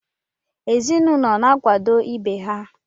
Ezinụlọ na-akwado ibe ha.